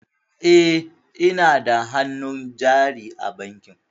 E, ina da hannun jari a bankin.